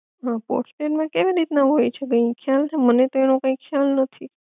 હઅ પોસ્ટપેડ માં કેવી રીત ના હોય છે બેન? ખ્યાલ છે મને કઈ એનો કઈ ખ્યાલ નથી